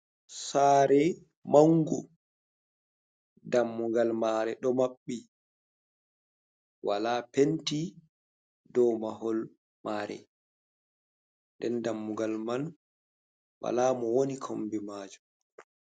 Sare mangu dammugal mare do mabbi wala penti dow mahol mare, nden dammugal man wala mo woni kombi majum.